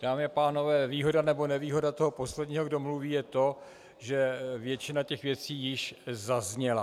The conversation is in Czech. Dámy a pánové, výhoda nebo nevýhoda toho posledního, kdo mluví, je to, že většina těch věcí již zazněla.